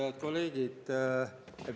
Head kolleegid!